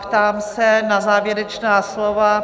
Ptám se na závěrečná slova?